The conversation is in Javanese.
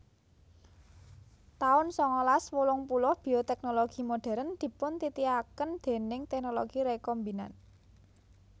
taun sangalas wolung puluh Bioteknologi modern dipuntitiaken déning teknologi rekombinan